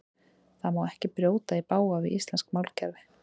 Það má ekki brjóta í bága við íslenskt málkerfi.